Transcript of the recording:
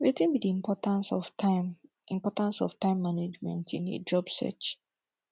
wetin be di importance of time importance of time management in a job search